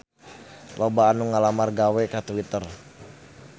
Loba anu ngalamar gawe ka Twitter